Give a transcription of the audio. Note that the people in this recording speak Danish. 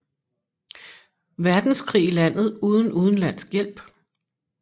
Verdenskrig i landet uden udenlandsk hjælp